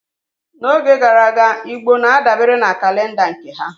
N'oge gara aga, Igbo na-adabere na kalenda nke ha